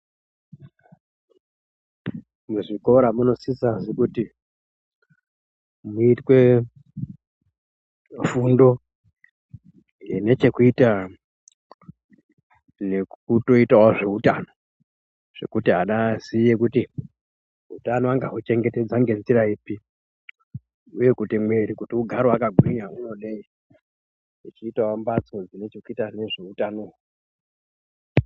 Muzvikora munosisazve kuti muitwe fundo inechekuita nekutoitawo zveutano zvekuti ana aziye kuti utano angahu chengetedza ngenzira ipi uye kuti mwiri kuti ugare wakagwinya unode uchiitawo mbatso dzine chekuita nezveutano.